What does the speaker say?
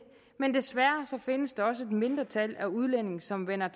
men desværre findes der også et mindretal af udlændinge som vender